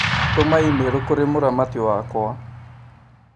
Tũma i-mīrū kũrĩ mũramati wakwa